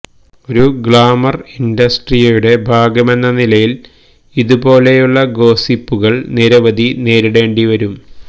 ഒരു ഗ്ലാമര് ഇന്ഡസ്ട്രിയുടെ ഭാഗമെന്ന നിലയില് ഇതുപോലെയുള്ള ഗോസിപ്പുകള് നിരവധി നേരിടേണ്ടി വരും